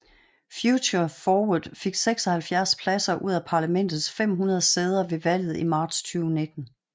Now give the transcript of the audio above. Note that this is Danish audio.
Future Forward fik 76 pladser ud af parlamentets 500 sæder ved valget i marts 2019